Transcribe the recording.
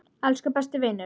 Elsku besti vinur.